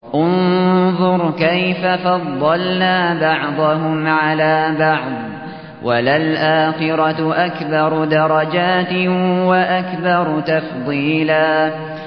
انظُرْ كَيْفَ فَضَّلْنَا بَعْضَهُمْ عَلَىٰ بَعْضٍ ۚ وَلَلْآخِرَةُ أَكْبَرُ دَرَجَاتٍ وَأَكْبَرُ تَفْضِيلًا